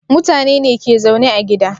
Mutane ne ke zaune a gida